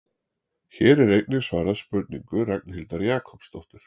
Hér er einnig svarað spurningu Ragnhildar Jakobsdóttur: